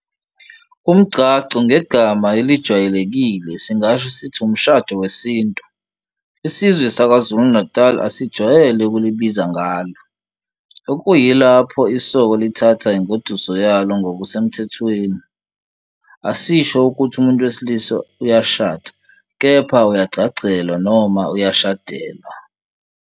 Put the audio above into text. Umgcagco, ngegama elijwayelekile singasho sithi ushado wesintu, isizwe saKwa-Zulu Natal asijwayele ukulibiza ngalo. Okuyilapho isoka lithatha ingoduso yalo ngokusemthethweni, asisho ukuthi umuntu wesilisa uyashada kepha uyagcagcelwa noma uyashadelwa.